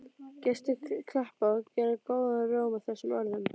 Gestir klappa og gera góðan róm að þessum orðum.